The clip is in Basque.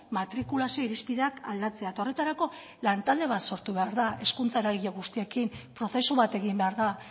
matrikulazio irizpideak aldatzea eta horretarako lantalde bat sortu behar da hezkuntza eragile guztiekin prozesu bat egin behar da